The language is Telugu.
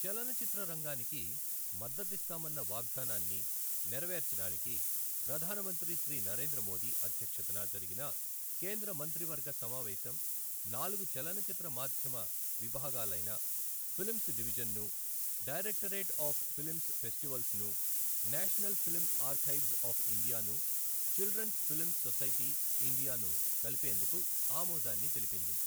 చలనచిత్ర రంగానికి మద్దతిస్తామన్న వాగ్దానాన్ని నెరవేర్చడానికి ప్రధాన మంత్రి శ్రీ నరేంద్ర మోదీ అధ్యక్షతన జరిగిన కేంద్ర మంత్రివర్గ సమావేశం నాలుగు చలనచిత్ర మాధ్యమ విభాగాలైన ఫిల్మ్స్ డివిజన్ను, డైరెక్టరేట్ ఆఫ్ ఫిల్మ్ ఫెస్టివల్స్ను, నేషనల్ ఫిలిం ఆర్కైవ్జ్ ఆఫ్ ఇండియాను, చిల్డ్రన్స్ ఫిల్మ్ సొసైటీ, ఇండియాను కలిపేందుకు ఆమోదాన్ని తెలిపింది.